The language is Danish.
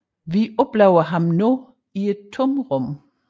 Vi oplever ham nu i et tomrum